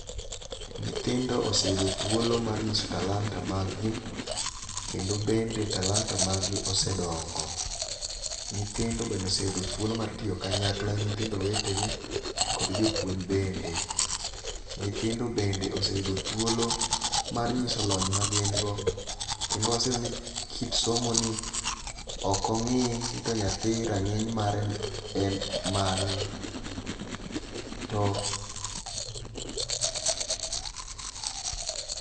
Nyithindo oseyudo thuolo mar nyiso talanta mag gi kendo bende talanta mag gi osedongo .Nyithndo bende oseyudo thuolo mar tiyo kanyakla gi nyithindo wetegi kod jopuonj bende .Nyithindo bende oseyudo thuoplo mar ng'iso lony ma gin go kendo aseyudo ni kit somo ni rang'iny mare en mane to